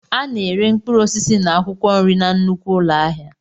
A na-ere mkpụrụ osisi na akwụkwọ nri na nnukwu ụlọ ahịa.